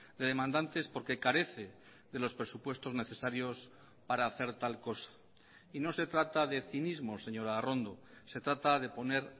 de demandantes porque carece de los presupuestos necesarios para hacer tal cosa y no se trata de cinismo señora arrondo se trata de poner